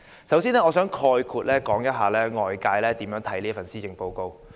首先，我想概括地說說外界如何評價這份施政報告。